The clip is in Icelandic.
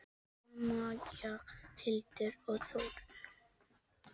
Jóna Maja, Hildur og Þórunn.